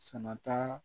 Sama ta